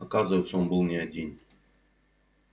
оказывается он был не один